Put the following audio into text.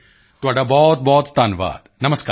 ਤੁਹਾਡਾ ਬਹੁਤਬਹੁਤ ਧੰਨਵਾਦ ਨਮਸਕਾਰ